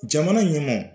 Jamana ɲɛmɔɔw